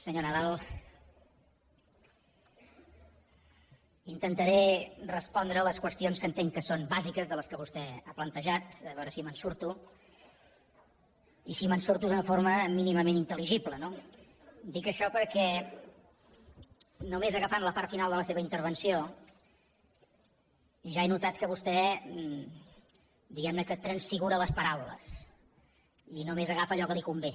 senyor nadal intentaré respondre a les qüestions que entenc que són bàsiques de les que vostè ha plantejat a veure si me’n surto i si me’n surto d’una forma mínimament intel·ligible no dic això perquè només agafant la part final de la seva intervenció ja he notat que vostè diguem ne transfigura les paraules i només agafa allò que li convé